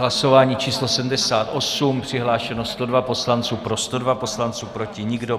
Hlasování číslo 78, přihlášeno 102 poslanců, pro 102 poslanců, proti nikdo.